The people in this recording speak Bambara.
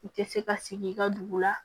I tɛ se ka sigi i ka dugu la